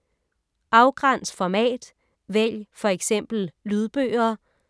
Afgræns format: vælg f.eks. lydbøger